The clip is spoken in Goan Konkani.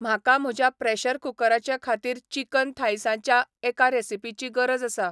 म्हाका म्हज्या प्रॅशर कुकराचे खातीर चिकन थाय्सांच्या एका रॅसिपीची गरज आसा